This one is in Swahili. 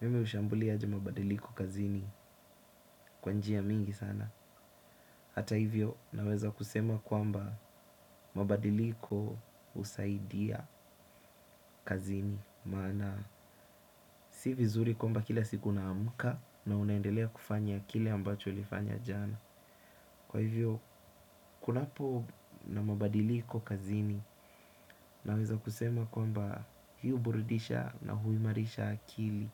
Mimi hushambulia aje mabadiliko kazini kwa njia mingi sana hata hivyo naweza kusema kwamba mabadiliko husaidia kazini maana si vizuri kwamba kila siku unaamka na unaendelea kufanya kile ambacho ulifanya jana kwa hivyo kunapo na mabadiliko kazini naweza kusema kwamba huburidisha na huimarisha akili